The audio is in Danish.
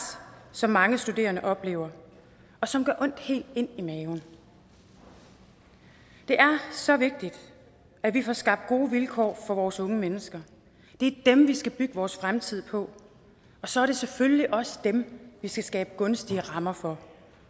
som mange studerende oplever og som gør ondt helt ind i maven det er så vigtigt at vi får skabt gode vilkår for vores unge mennesker det er dem vi skal bygge vores fremtid på og så er det selvfølgelig også dem vi skal skabe gunstige rammer for